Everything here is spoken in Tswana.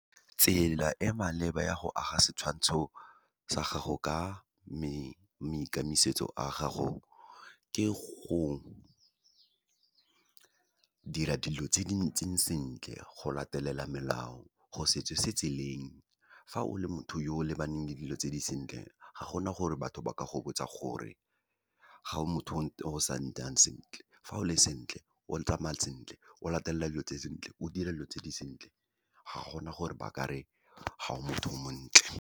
Tsela e maleba ya go aga setshwantsho sa gago ka a gago, ke go dira dilo tse di ntseng sentle, go latelela melao, go se tsose tseleng. Fa o le motho yo o lebaneng le dilo tse di sentle, ga gona gore batho ba ka go botsa gore ga o motho o sa nnang sentle. Fa o le sentle, o tsamaya sentle, o latelela dilo tse sentle, o dire dilo tse di sentle, ga gona gore ba ka re ga o motho o montle.